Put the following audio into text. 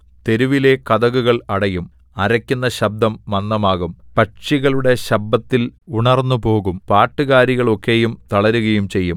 തെരുവിലെ കതകുകൾ അടയും അരക്കുന്ന ശബ്ദം മന്ദമാകും പക്ഷികളുടെ ശബ്ബത്തിൽ ഉണർന്നുപോകും പാട്ടുകാരികൾ ഒക്കെയും തളരുകയും ചെയ്യും